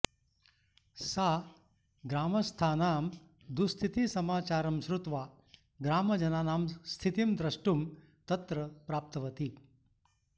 सा ग्रामस्थानां दुःस्थितिसमाचारं श्रुत्वा ग्रामजनानां स्थितिं दृष्टुं तत्र प्राप्तवती